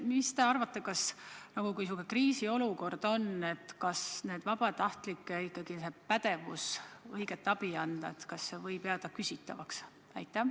Mis te arvate, kas nende vabatahtlike pädevus kriisiolukorras abi anda ei või jääda küsitavaks?